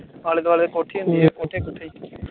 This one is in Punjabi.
ਆਲੇ ਦੁਆਲੇ ਕੋਠੀ ਹੁੰਦੀ ਏ